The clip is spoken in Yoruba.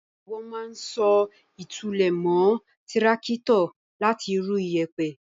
Wọ́n máa ń so ìtúlẹ̀ mọ́ tíráátọ̀ láti rú iyẹ̀pẹ̀.